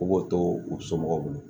U b'o to u somɔgɔw bolo